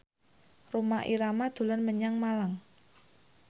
Rhoma Irama dolan menyang Malang